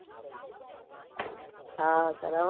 હા કરવાનું જ છે.